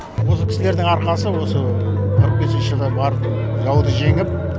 осы кісілердің арқасы осы қырық бесінші жылы бар жауды жеңіп